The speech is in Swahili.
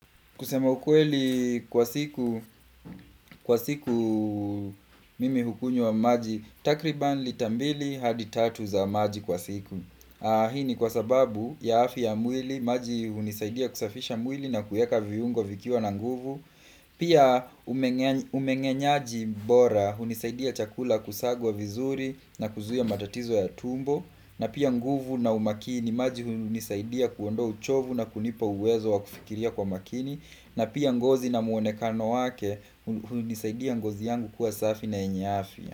Kusema ukweli kwa siku mimi hukunywa maji, takriban lita mbili hadi tatu za maji kwa siku. Hii ni kwa sababu ya afya ya mwili, maji hunisaidia kusafisha mwili na kuiweka viungo vikiwa na nguvu. Pia umenyenyaji bora, hunisaidia chakula kusagwa vizuri na kuzuia matatizo ya tumbo. Na pia nguvu na umaakini, maji hunisaidia kuondoa uchovu na kunipa uwezo wa kufikiria kwa maakini. Na pia ngozi na muonekano wake hunisaidia ngozi yangu kuwa safi na yenye afya.